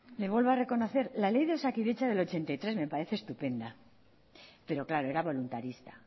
le vuelvo a reconocer la ley de osakidetza del ochenta y tres me parece estupenda pero claro era voluntarista